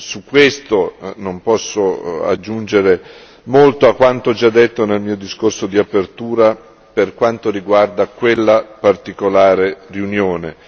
Su questo non posso aggiungere molto a quanto già detto nel mio discorso di apertura per quanto riguarda quella particolare riunione.